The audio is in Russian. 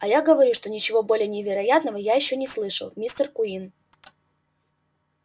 а я говорю что ничего более невероятного я ещё не слышал мистер куинн